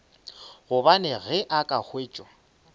gobane ge a ka hwetša